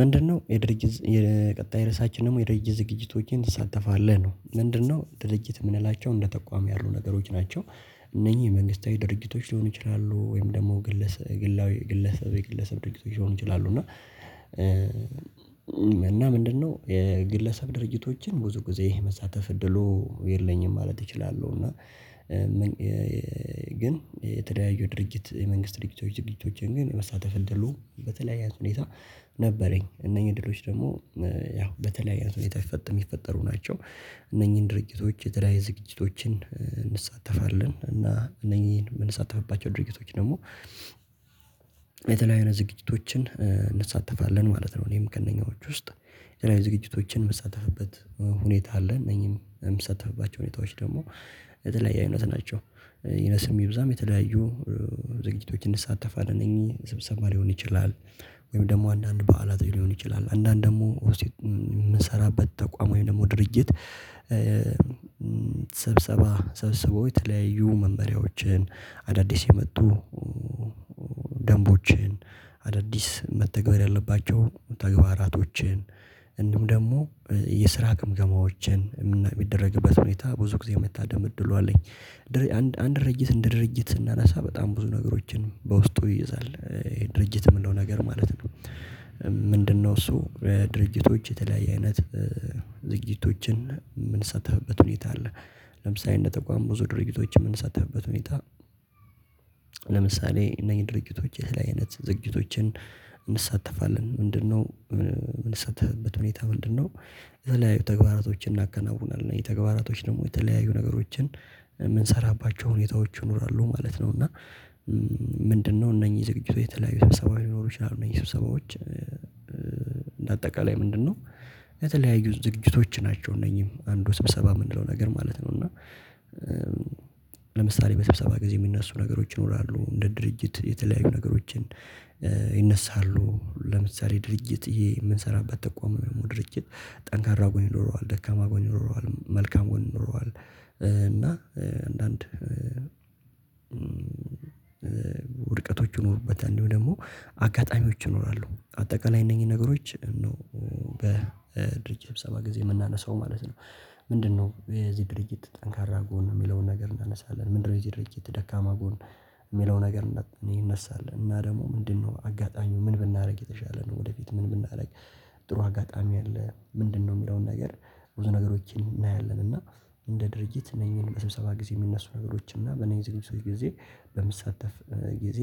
ምንድነው የድርጅት ቀጣይ ርዕሳችን ደግሞ የድርጅት ዝግጅቶቼን ትሳተፋለህ? ነው። ምንድነው ድርጅት የምንላቸው እንደ ተቋም ያሉ ነገሮች ናቸው። እነኚህ መንግስታዊ ድርጅቶች ሊሆኑ ይችላሉ። ወይም ደግሞ ግለሰብ ግለሰብ የግለሰብ ድርጅት ሊሆን ይችላሉ። እና ምንድነው የግለሰብ ድርጅቶችን ብዙ ጊዜ መሳተፍ እድሉ የለኝም ማለት እችላለሁ። እና ግን የተለያዩ ድርጅት የመንግስት ድርጅቶች ድርጊቶችን ግን መሳተፍ እንደሉ በተለያየ ሁኔታ ነበረኝ። እነኚህ ድሎች ደግሞ ያው በተለያየ አይነት ሁኔታ ይፈጥ የሚፈጠሩ ናቸው። እነኚህን ድርጅቶች የተለያየ ዝግጅቶችን እንሳተፋለን። እና እነኚህን የምንሳተፍባቸው ድርጅቶች ደግሞ የተለያዩ አይነት ዝግጅቶችን እንሳተፋለን ማለት ነው። እኔም ከእነኛዎቹ ውስጥ የተለያዩ የዝግጅቶችን የምሳተፍበት ሁኔታ አለ። እነዚህን የምሳተፍባቸው ሁኔታዎች ደግሞ የተለያየ አይነት ናቸው። ይነስም ይብዛም የተለያዩ ዝግጅቶች እንሳተፍለን። እነኚህ ስብሰባ ሊሆን ይችላል፤ ወይም ደግሞ አንዳንድ በዓላት ሊሆን ይችላል። አንዳንድ ደግሞ የምንሰራበት ተቋም ወይም ደግሞ ድርጅት ስብሰባ ሰብስቦ የተለያዩ መመሪያዎችን፣ አዳዲስ የመጡ ደንቦችን አዳዲስ መተግበር ያለባቸው ተግባራቶችን፣ እንዲሁም ደግሞ የስራ ግምገማዎችን የሚደረግበት ሁኔታ ብዙ ጊዜ የመታደም እድሉ አለኝ። አንድ ድርጅት እንደ ድርጅት ስናነሳ በጣም ብዙ ነገሮችን በውስጡ ይይዛል። ድርጅት የምንለው ነገር ማለት ነው። ምንድነው እሱ ድርጅቶች የተለያየ አይነት ዝግጅቶችን የምንሳተፍበት ሁኔታ አለ። ለምሳሌ እንደ ተቋም ብዙ ድርጅቶች የምንሳተፍበት ሁኔታ ለምሳሌ እነኚህ ድርጅቶች የተለያየ አይነት ዝግጅቶችን እንሳተፋለን። ምንድነው የምንሳተፍበት ሁኔታ ምንድነው። የተለያዩ ተግባራቶችን እናከናውናለን። እነኚህ ተግባራቶች ደግሞ የተለያዩ ነገሮችን የምንሰራባቸው ሁኔታዎች ይኖራሉ ማለት ነው። እና ምንድነው እነኚህ ዝግጅቶች የተለያዩ ሰብሰባዎች ሊሆኑ ይችላሉ። እነኚህ ሰው ስብሰባዎች አጠቃላይ ምንድነው የተለያዩ ዝግጅቶች ናቸው። እነኚህም አንዱ ስብሰባ የምንለው ነገር ማለት ነው። እና ለምሳሌ በሰብሰባ ጊዜ የሚነሱ ነገሮች ይኖራሉ እንደ ድርጅት የተለያዩ ነገሮችን ይነሳሉ ለምሳሌ ድርጅት የምንሰራበት ተቋም ደግሞ ድርጅት ጠንካራ ጎን ይኖረዋል ደካማ ጎን ይኖረዋል መልካም ጎን ኖረዋል እና አንዳንድ ውድቀቶች ይኖሩበታል። እንዲሁም ደግሞ አጋጣሚዎች ይኖራሉ። አጠቃላይ እነኚህ ነገሮች ነው በድርጅት ስብሰባ ጊዜ የምናነሳው ማለት ነው። ምንድነው የዚህ ድርጅት ጠንካራ ጎን የሚለውን ነገር እናነሳለን። ምንድነው የዚህ ድርጅት ደካማ ጎን የሚለውን ነገር ይነሳል። እና ደግሞ ምንድነው አጋጣሚው ምን ብናደርግ የተሻለ ነው? ወደፊት ምን ብናደርግ ጥሩ አጋጣሚ አለ? ምንድነው? የሚለውን ነገር ብዙ ነገሮችን እናያለን። እና እንደ ድርጅት እነዚህን በስብሰባ ጊዜ የሚነሱ ነገሮች እና በነዚህ ዝግጅቶች ጊዜ በምሳተፍ ጊዜ